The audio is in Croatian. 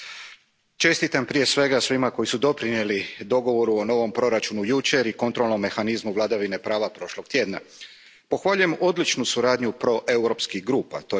Poštovani predsjedavajući, čestitam prije svega svima koji su doprinijeli dogovoru o novom proračunu jučer i kontrolnom mehanizmu vladavine prava prošli tjedan. Pohvaljujem odličnu suradnju proeuropskih grupa.